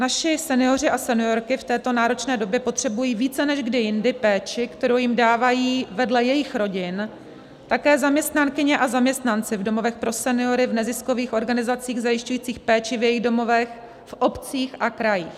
Naši senioři a seniorky v této náročné době potřebují více než kdy jindy péči, kterou jim dávají vedle jejich rodin také zaměstnankyně a zaměstnanci v domovech pro seniory, v neziskových organizacích zajišťujících péči v jejich domovech, v obcích a krajích.